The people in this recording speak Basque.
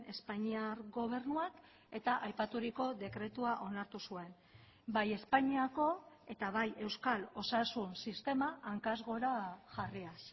espainiar gobernuak eta aipaturiko dekretua onartu zuen bai espainiako eta bai euskal osasun sistema hankaz gora jarriaz